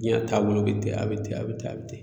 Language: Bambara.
Jiɲa taabolo be ten a be ten a be ten a be ten